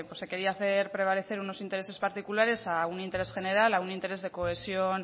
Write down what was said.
pues se quería hacer prevalecer unos intereses particulares a un interés general a un interés de cohesión